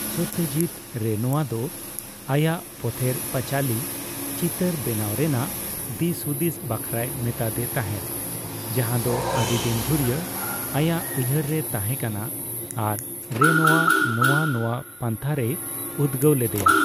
Satyajit Renoir ᱫᱚ ᱟᱭᱟᱜ 'ᱯᱚᱛᱷᱮᱨ ᱯᱟᱪᱟᱞᱤ' ᱪᱤᱛᱟᱹᱨ ᱵᱮᱱᱟᱣ ᱨᱮᱱᱟᱜ ᱫᱤᱥᱼᱦᱩᱫᱤᱥ ᱵᱟᱠᱷᱨᱟᱭ ᱢᱮᱛᱟᱫᱮ ᱛᱟᱸᱦᱮᱫ, ᱡᱟᱸᱦᱟ ᱫᱚ ᱟᱹᱰᱤ ᱫᱤᱱ ᱫᱷᱩᱨᱤᱭᱟᱹ ᱟᱭᱟᱜ ᱩᱭᱦᱟᱹᱨ ᱨᱮ ᱛᱟᱸᱦᱮ ᱠᱟᱱᱟ ᱟᱨ ᱨᱮᱱᱳᱣᱟ ᱱᱚᱣᱟ ᱱᱚᱣᱟ ᱯᱟᱱᱛᱷᱟ ᱨᱮᱭ ᱩᱫᱽᱜᱟᱹᱣ ᱞᱮᱫᱮᱭᱟ ᱾